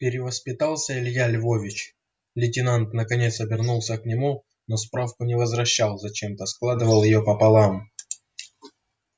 перевоспитался илья львович лейтенант наконец обернулся к нему но справку не возвращал зачем-то складывал её пополам